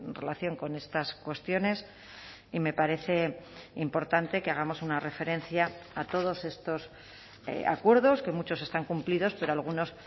relación con estas cuestiones y me parece importante que hagamos una referencia a todos estos acuerdos que muchos están cumplidos pero algunos